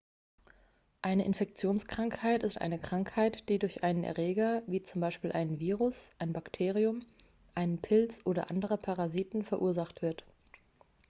eine infektionskrankheit ist eine krankheit die durch einen erreger wie z. b. einen virus ein bakterium einen pilz oder andere parasiten verursacht wird